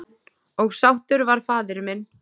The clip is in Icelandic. Og sáttur var faðir minn.